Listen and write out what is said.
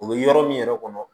U bɛ yɔrɔ min yɛrɛ kɔnɔ